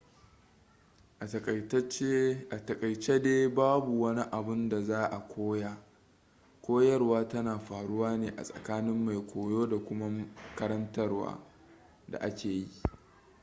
a takaice dai babu wani abun da za a koya koyarwa tana faruwa ne a tsakanin mai koyo da kuma karantarwar da ake yi